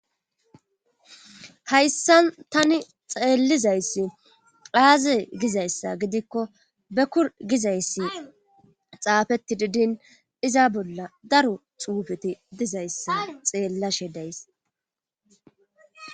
Hayssan tani xeellizayssi qaaze gizayssa gidikko bekur gizayssi xaafetti didin iza bolla daro xuufeti dizayssa xeellashe days